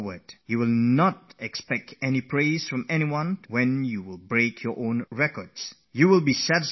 When you break your own record, you will not have to depend on others for happiness and satisfaction